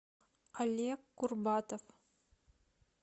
олег курбатов